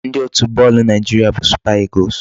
Ndị otu bọọlụ Naịjiria bụ Super Eagles.